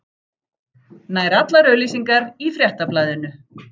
Nær allar auglýsingar í Fréttablaðinu